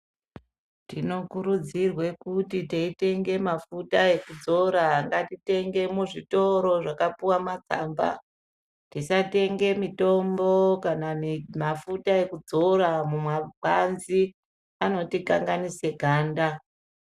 Tinokurudzirwe kuti teyitenge mafuta ekudzora ngatitenge muzvitoro zvakapuwa matsamba ,tisatenge mitombo kana mafuta ekudzora mumapanzi, anotikanganise ganda.